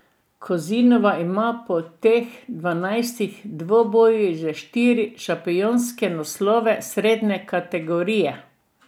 Kozinova ima po teh dvanajstih dvobojih že štiri šampionske naslove srednje kategorije.